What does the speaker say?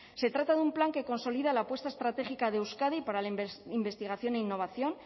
se trata de un plan que consolida la apuesta estratégica de euskadi para la investigación e innovación